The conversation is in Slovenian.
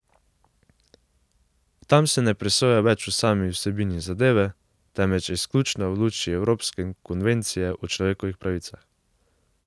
Tam se ne presoja več o sami vsebini zadeve, temveč izključno v luči evropske konvencije o človekovih pravicah.